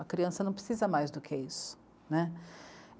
A criança não precisa mais do que isso, né.